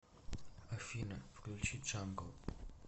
афина включи джангл